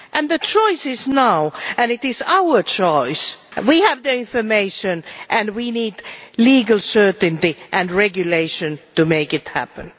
The choice is for now, and it is our choice. We have the information and we need legal certainty and regulation to make it happen.